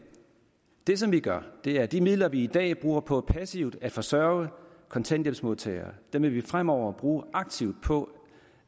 det som vi gør er at de midler vi i dag bruger på passivt at forsørge kontanthjælpsmodtagere vil vi fremover bruge aktivt på